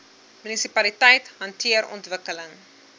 munisipaliteite hanteer ontwikkeling